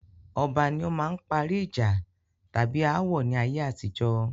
Ọba ní ó máa ń parí ìjà tàbí ááwọ̀ ni ayé àtijọ́.